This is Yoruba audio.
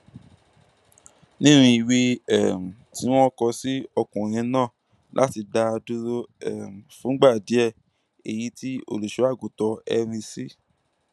nínú ìwé um tí wọn kọ sí ọkùnrin náà láti dá a dúró um fúngbà díẹ èyí tí olùṣọàgùtàn henry c